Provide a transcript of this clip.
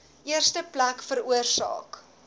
eerste plek veroorsaak